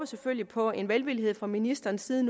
selvfølgelig på en velvillighed fra ministerens side